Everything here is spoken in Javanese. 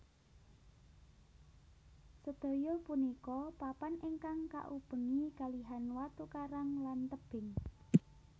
Sedaya punika papan ingkang kaubengi kalihan watu karang lan tebing